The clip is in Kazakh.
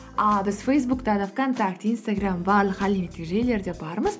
ааа біз фейсбукта да вконтакте инстаграм барлық әлеуметтік желілерде бармыз